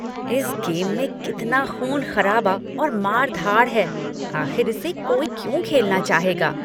इस गेम में कितना ख़ून खराबा और मार धाड़ है। आख़िर इसे कोई क्यों खेलना चाहेगा?